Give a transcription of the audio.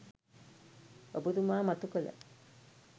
ඔබතුමා මතු කළ